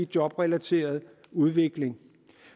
jobrelateret udvikling